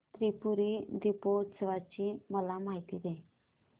त्रिपुरी दीपोत्सवाची मला माहिती दे